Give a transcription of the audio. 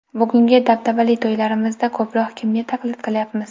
Bugungi dabdabali to‘ylarimizda ko‘proq kimga taqlid qilayapmiz?